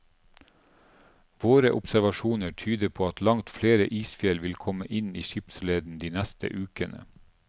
Våre observasjoner tyder på at langt flere isfjell vil komme inn i skipsleden de neste ukene.